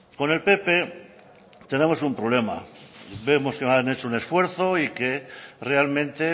con el pp tenemos un problema vemos que han hecho un esfuerzo y que realmente